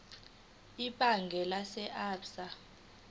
ebhange lase absa